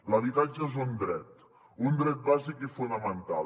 l’habitatge és un dret un dret bàsic i fonamental